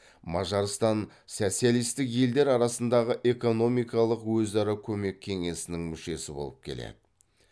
мажарстан социалисттік елдер арасындығы экономикалық өзара көмек кеңесінің мүшесі болып келеді